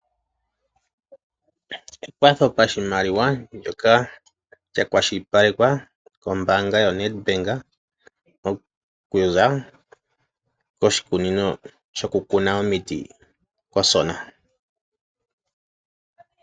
Ekwatho pashimaliwa ndyoka lya kwashilipalekwa kombaanga yoNedbank okuza koshikunino shokukuna omiti kOsona.